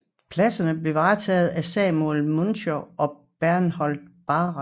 Pladserne blev varetaget af Samuel Münchow og Berthold Bahnsen